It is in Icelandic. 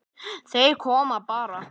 Þeir komu bara.